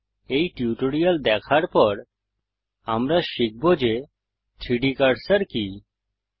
এই টিউটোরিয়াল দেখার পর আমরা শিখব যে 3ডি কার্সার কি160